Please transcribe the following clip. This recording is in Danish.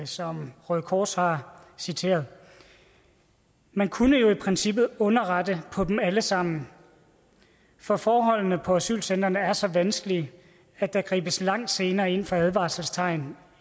som røde kors har citeret man kunne jo i princippet underrette på dem alle sammen for forholdene på asylcentrene er så vanskelige at der gribes langt senere ind over for advarselstegn